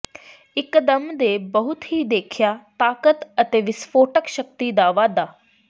ਇੱਕਦਮ ਦੇ ਬਹੁਤ ਹੀ ਦੇਖਿਆ ਤਾਕਤ ਅਤੇ ਵਿਸਫੋਟਕ ਸ਼ਕਤੀ ਦਾ ਵਾਧਾ